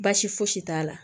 Baasi fosi t'a la